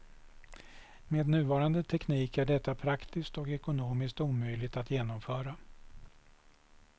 Med nuvarande teknik är detta praktiskt och ekonomiskt omöjligt att genomföra.